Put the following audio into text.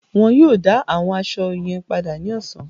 Wọn yóò dá àwọn aṣọ yín padà ní ọ̀sán.